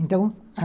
Então, a